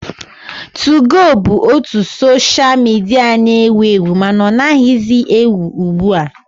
2go bụbu otu soshal midia na-ewu ewu mana ọ naghịzi ewu ugbu a